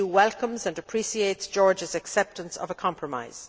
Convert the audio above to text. The EU welcomes and appreciates Georgia's acceptance of a compromise.